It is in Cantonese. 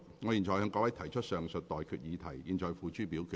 我現在向各位提出上述待決議題，付諸表決。